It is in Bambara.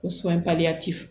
Ko sɔnbaliya